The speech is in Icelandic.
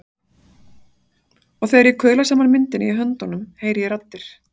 En þegar ég kuðla saman myndinni í höndunum heyri ég raddir.